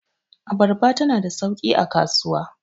abarba tana da sauki a kasuwa